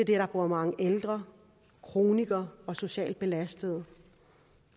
der bor mange ældre kronikere og socialt belastede